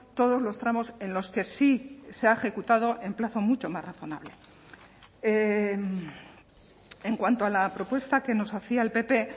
todos los tramos en los que sí se ha ejecutado en plazo mucho más razonable en cuanto a la propuesta que nos hacía el pp